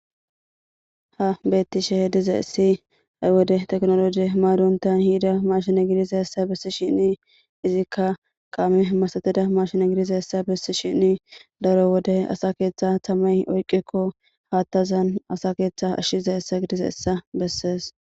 ha bettishe hediza esi ay wode teknoloje maaduntan hiida mashine gidiza hessa bessi shinni izikka kaame masatida mashine gidiza hessa bissi shinni daro wode asa keeththa tamay oyqikko haattazan asa keeththe ashshiza essa gidiza essa bessees